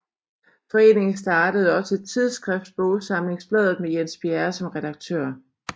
Foreningen startede også et tidsskrift Bogsamlingsbladet med Jens Bjerre som redaktør